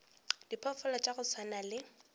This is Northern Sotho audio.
diphoofolo tša go swana le